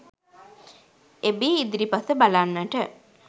එබී ඉදිරිපස බලන්නට